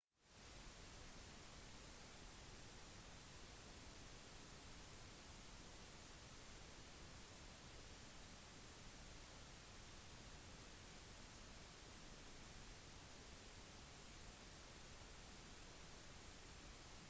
hver morgen kjører folk i bil for komme seg på jobb utenfor landsbyen mens andre kjører i motsatt retning fordi deres arbeidsplass er i landsbyen de andre kjører ut av